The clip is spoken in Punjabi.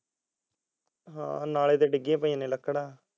ਨਾਲੇ ਤੇ ਡਿੱਗੀ ਪਈਆਂ ਨੇ ਲੱਕੜਾ